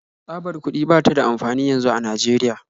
Tsabar kuɗi ba ta da amfani yanzu a Najeriya